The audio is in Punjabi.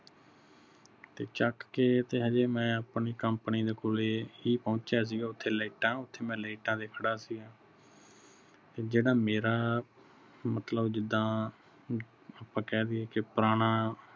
ਤੇ ਚੱਕ ਕੇ ਤੇ ਹਜੇ ਮੈਂ ਆਪਣੀ company ਦੇ ਕੋਲੇ ਹੀ ਪਹੁੰਚਿਆ ਸੀਗਾ ਓਥੈ ਲਾਈਟਾਂ ਓਥੇ ਮੈਂ ਲਾਈਟਾਂ ਤੇ ਖੜਾ ਸੀ ਜਿਹੜਾ ਮੇਰਾ ਮਤਲਬ ਜਿੰਦਾ ਆਪਾ ਕਹਿ ਦਈਏ ਕੀ ਪੁਰਾਣਾ